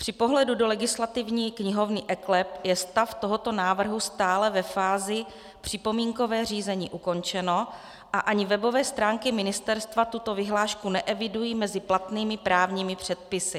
Při pohledu do legislativní knihovny eKLEP je stav tohoto návrhu stále ve fázi připomínkové řízení ukončeno a ani webové stránky ministerstva tuto vyhlášku neevidují mezi platnými právními předpisy.